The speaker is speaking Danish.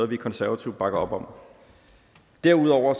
vi konservative bakker op om derudover